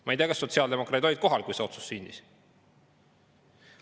Ma ei tea, kas sotsiaaldemokraadid olid kohal, kui see otsus sündis.